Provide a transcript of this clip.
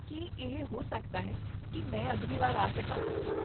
ਕੀ ਇਹ ਹੋ ਸਕਦਾ ਹੈ ਕਿ ਮੈਂ ਅਗਲੀ ਵਾਰ ਆ ਸਕਾਂ?